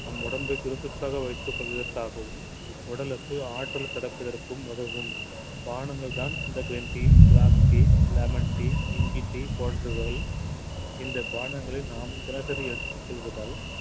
நம் உடம்பை சுறுசுறுப்பாக வைத்துக் கொள்வதற்காகவும் உடலுக்கு ஆற்றல் கிடைப்பதற்கும் உதவும் பானங்கள்தான் இந்த green tea black tea lemon tea இஞ்சி tea போன்றவை இந்த பானங்களை நாம் தினசரி எடுத்துக் கொள்வதால்